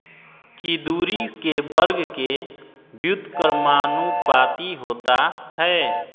की दूरी के वर्ग के व्युत्क्रमानुपाती होता है